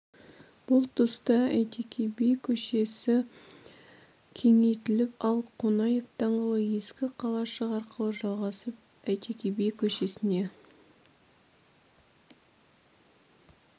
бұл тұста әйтеке би көшесі кеңейтіліп ал қонаев даңғылы ескі қалашық арқылы жалғасып әйтеке би көшесіне